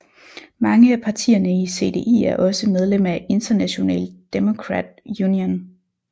Mange af partierne i CDI er også medlem af International Democrat Union